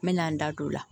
N mɛna n da don o la